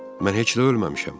Mən heç də ölməmişəm.